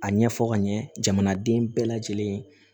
A ɲɛfɔ ka ɲɛ jamanaden bɛɛ lajɛlen